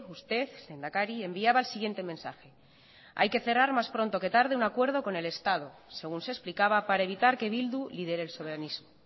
usted lehendakari enviaba el siguiente mensaje hay que cerrar más pronto que tarde un acuerdo con el estado según se explicaba para evitar que bildu lidere el soberanismo